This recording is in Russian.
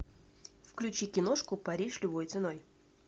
включи киношку париж любой ценой